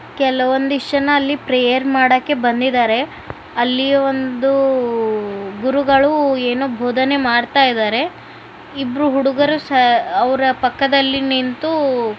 ಕೆಲವೊಂದಷ್ಟು ಜನ ಪ್ರೇಯರ್ ಮಾಡೋದಿಕ್ಕೆ ಅಲ್ಲಿ ಬಂದಿದ್ದಾರೆ ಒಂದು ಗುರುಗಳು ಏನೋ ಬೋಧನೆ ಮಾಡ್ತಾ ಇದ್ದಾರೆ ಇಬ್ಬರು ಹುಡುಗರು ಅವರ ಪಕ್ಕದಲ್ಲಿ ನಿಂತು.